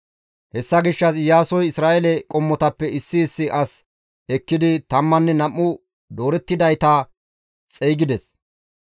Hessa gishshas Iyaasoy Isra7eele qommotappe issi issi as ekkidi tammanne nam7u doorettidayta xeygides.